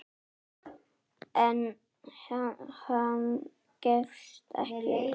En hann gefst ekki upp.